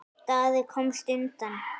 Daði komst undan.